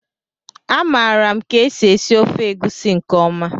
A maara m ka e si esi ofe egusi nke ọma